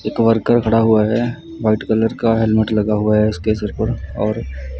ये कव्हर कर खड़ा हुआ है। वाइट कलर का हेलमेट लगा हुआ है उसके सर पर और--